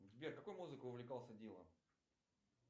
сбер какой музыкой увлекался дилан